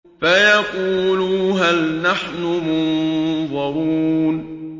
فَيَقُولُوا هَلْ نَحْنُ مُنظَرُونَ